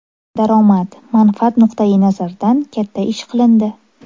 Daromad, manfaat nuqtai nazaridan katta ish qilindi.